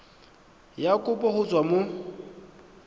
ya kopo go tswa mo